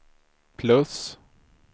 plus